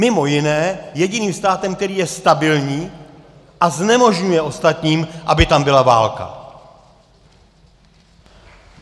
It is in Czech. Mimo jiné jediným státem, který je stabilní a znemožňuje ostatním, aby tam byla válka.